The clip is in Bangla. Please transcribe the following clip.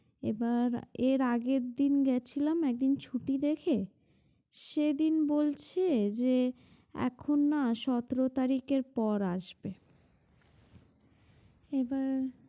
এবার এর আগের দিন গেছিলাম একদিন ছুটি দেখে সেদিন বলছে যে এখন না সতের তারিখের পর আসবে এবার।